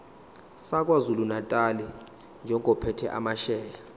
sakwazulunatali njengophethe amasheya